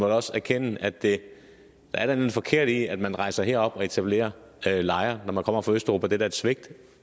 også erkende at der er noget forkert i at man rejser herop og etablerer lejre når man kommer fra østeuropa det er da et svigt